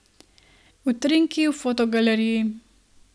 Utrinki v fotogaleriji!